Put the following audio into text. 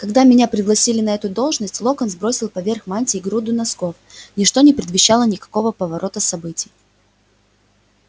когда меня пригласили на эту должность локонс бросил поверх мантий груду носков ничто не предвещало никакого поворота событий